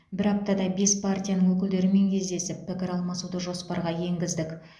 бір аптада бес партияның өкілдерімен кездесіп пікір аламасуды жоспарға енгіздік